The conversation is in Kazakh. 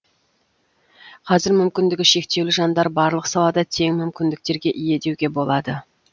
қазір мүмкіндігі шектеулі жандар барлық салада тең мүмкіндіктерге ие деуге болады